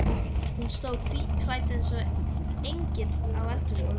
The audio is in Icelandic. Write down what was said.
Hún stóð hvítklædd eins og engill á eldhúsgólfinu.